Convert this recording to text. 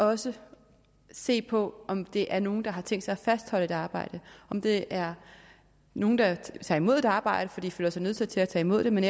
også se på om det er nogen der har tænkt sig at fastholde et arbejde om det er nogen der tager imod et arbejde fordi de føler sig nødsaget til at tage imod det men